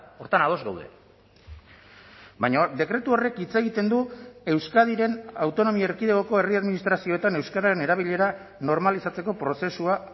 horretan ados gaude baina dekretu horrek hitz egiten du euskadiren autonomia erkidegoko herri administrazioetan euskararen erabilera normalizatzeko prozesua